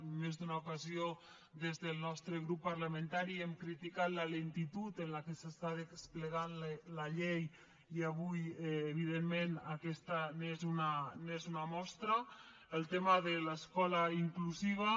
en més d’una ocasió des del nostre grup parlamentari hem criticat la lentitud amb què s’està desplegant la llei i avui evidentment aquesta n’és una mostra el tema de l’escola inclusiva